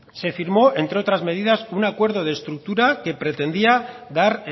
se firmó entre otras medidas un acuerdo de estructura que pretendía dar